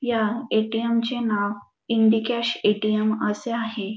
या A T M चे नाव इंडिकॅश ए टी एम असे आहे.